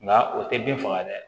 Nka o tɛ bin faga dɛ